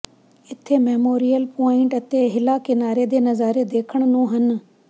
ਇੱਥੇ memorial point ਅਤੇ ਹਿਲਾ ਕਿਨਾਰੇ ਦੇ ਨਜ਼ਾਰੇ ਦੇਖਣ ਨੂੰ ਹਨ